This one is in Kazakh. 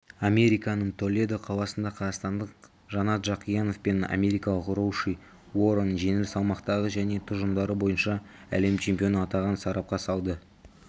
американың толедо қаласында қазақстандық жанат жақиянов пен америкалық роуши уоррен жеңіл салмақтағы және тұжырымдары бойынша әлем чемпионы атағын сарапқа салды